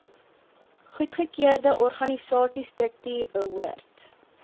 goedgekeurde organisasiestruktuur behoort